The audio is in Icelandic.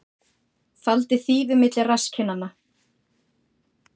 Faldi þýfi milli rasskinnanna